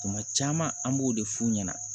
Tuma caman an b'o de f'u ɲɛna